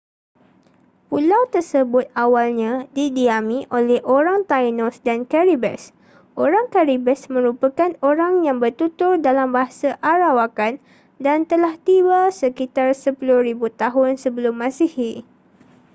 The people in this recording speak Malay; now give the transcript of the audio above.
pulau tersebut awalnya didiami oleh orang taínos dan caribes. orang caribes merupakan orang yang bertutur dalam bahasa arawakan dan telah tiba sekitar 10,000 tahun sebelum masihi